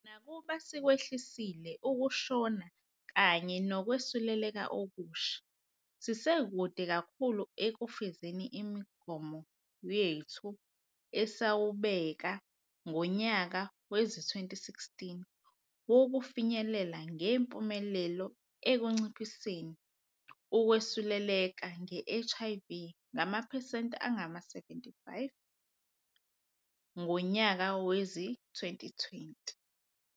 Nakuba sikwehlisile ukushona kanye nokwesuleleka okusha, sisekude kakhulu ekufezeni umgomo wethu esawubekangonyaka wezi-2016 wokufinyelela ngempumelelo ekunciphiseni ukwesuleleka nge-HIV ngamaphesenti angama-75 ngonyaka wezi-2020.